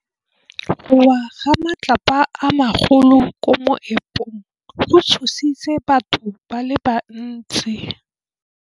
Go wa ga matlapa a magolo ko moepong go tshositse batho ba le bantsi.